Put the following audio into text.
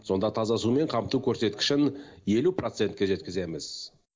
сонда таза сумен қамту көрсеткішін елу процентке жеткіземіз